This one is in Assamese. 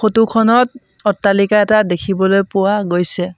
ফটো খনত অট্টালিকা এটা দেখিবলৈ পোৱা গৈছে।